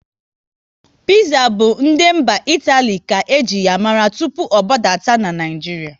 Piza bụ ndị mba Itali ka eji ya mara tụpụ ọ gbadata n'Naijiria